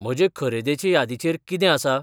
म्हजे खरेदेचे यादीचेर कितें आसा?